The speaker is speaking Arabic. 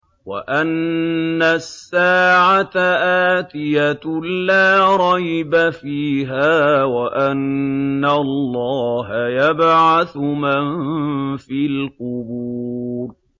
وَأَنَّ السَّاعَةَ آتِيَةٌ لَّا رَيْبَ فِيهَا وَأَنَّ اللَّهَ يَبْعَثُ مَن فِي الْقُبُورِ